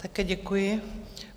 Také děkuji.